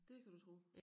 Det kan du tro